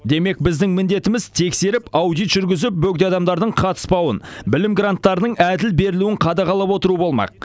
демек біздің міндетіміз тексеріп аудит жүргізіп бөгде адамдардың қатыспауын білім гранттарының әділ берілуін қадағалап отыру болмақ